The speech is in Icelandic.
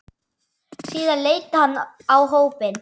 Síðan leit hann á hópinn.